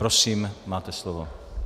Prosím, máte slovo.